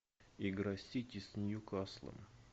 игра сити с ньюкаслом